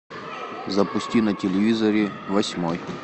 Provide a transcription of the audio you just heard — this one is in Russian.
запусти на телевизоре восьмой